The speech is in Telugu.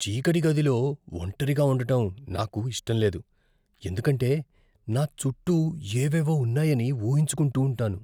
చీకటి గదిలో ఒంటరిగా ఉండటం నాకు ఇష్టం లేదు, ఎందుకంటే నా చుట్టూ ఏవేవో ఉన్నాయని ఊహించుకుంటూంటాను.